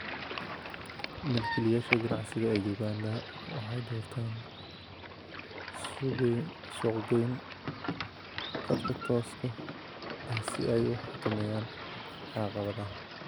Milkiilayaasha ganacsiga ee Uganda waxay doortaan suuqgeyn khadka tooska ahsi ayu xakameeyaan caqabadaha .